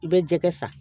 I bɛ jɛgɛ san